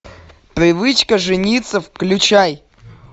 привычка жениться включай